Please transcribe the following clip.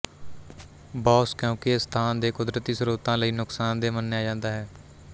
boss ਕਿਉਂਕਿ ਇਹ ਸਥਾਨ ਦੇ ਕੁਦਰਤੀ ਸਰੋਤਾਂ ਲਈ ਨੁਕਸਾਨਦੇਹ ਮੰਨਿਆ ਜਾਂਦਾ ਹੈ